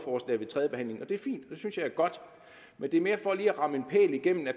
det er fint det synes jeg er godt men det er mere for lige at ramme en pæl igennem at